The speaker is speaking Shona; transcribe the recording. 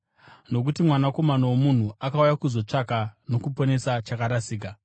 Nokuti Mwanakomana woMunhu akauya kuzotsvaka nokuponesa chakarasika.”